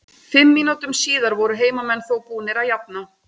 Fimm mínútum síðar voru heimamenn þó búnir að jafna.